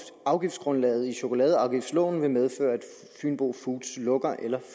afgiftsgrundlaget i chokoladeafgiftsloven vil medføre at fynbo foods lukker eller